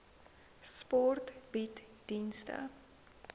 sport bied dienste